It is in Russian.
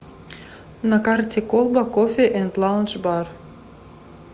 на карте колба кофе энд лаундж бар